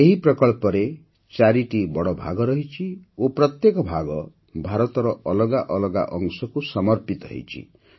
ଏହି ପ୍ରକଳ୍ପରେ ଚାରିଟି ବଡ଼ଭାଗ ରହିଛି ଓ ପ୍ରତ୍ୟେକ ଭାଗ ଭାରତର ଅଲଗା ଅଲଗା ଅଂଶକୁ ସମର୍ପିତ ହୋଇଛି